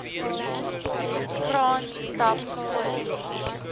kraan tap skoon